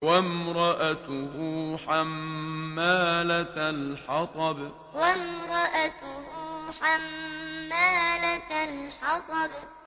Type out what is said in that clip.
وَامْرَأَتُهُ حَمَّالَةَ الْحَطَبِ وَامْرَأَتُهُ حَمَّالَةَ الْحَطَبِ